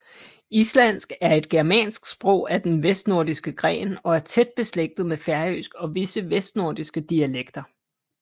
Islandsk er et germansk sprog af den vestnordiske gren og er tæt beslægtet med færøsk og visse vestnorske dialekter